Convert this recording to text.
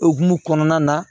Okumu kɔnɔna na